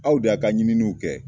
Aw de y'a ka ɲininiw kɛ